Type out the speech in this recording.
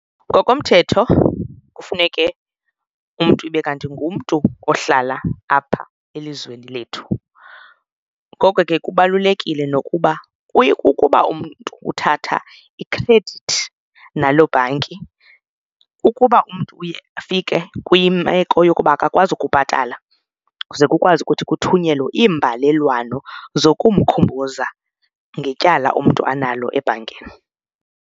Ngokomthetho kufuneke umntu ibe kanti ngumntu ohlala apha elizweni lethu. Ngoko ke kubalulekile nokuba kuye kukuba umntu uthatha ikhredithi nalo bhanki, ukuba umntu uye afike kwimeko yokuba akakwazi ukubhatala, ze kukwazi ukuthi kuthunyelwe iimbalelwano zokukhumbuza ngetyala umntu analo ebhankini.